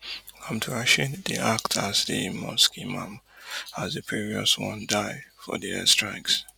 abdulrasheed dey act as di mosque imam as di previous one die for di air strikes